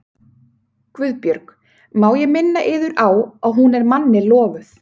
GUÐBJÖRG: Má ég minna yður á að hún er manni lofuð.